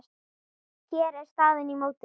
Hér er staðan í mótinu.